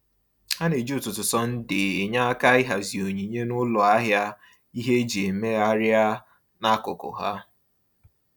Ha na-eji ụtụtụ Sọnde enye aka ịhazi onyinye n’ụlọ ahịa ihe eji emegharịa n’akụkụ ha.